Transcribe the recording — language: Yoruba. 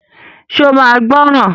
Ṣe o máa gbọ́ràn?